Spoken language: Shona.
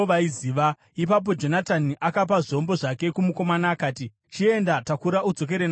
Ipapo Jonatani akapa zvombo zvake kumukomana akati, “Chienda, takura udzokere nazvo kuguta.”